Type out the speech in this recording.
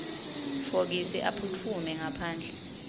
fokisi aphutfume ngaphandle